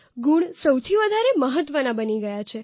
ગુણ સૌથી વધારે મહત્વના બની ગયા છે